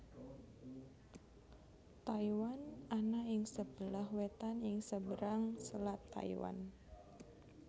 Taiwan ana ing sebelah wetan ing seberang Selat Taiwan